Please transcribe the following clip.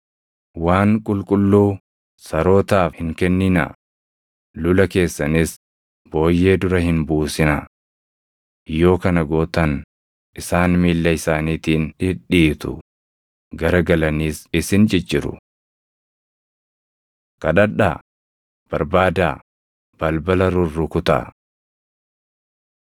“Waan qulqulluu sarootaaf hin kenninaa; lula keessanis booyyee dura hin buusinaa. Yoo kana gootan isaan miilla isaaniitiin dhidhiitu; gara galanis isin cicciru. Kadhadhaa, Barbaadaa, Balbala Rurrukutaa 7:7‑11 kwf – Luq 11:9‑13